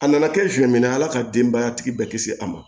A nana kɛ siɲɛ min na ala ka denbaya tigi bɛɛ kisi a ma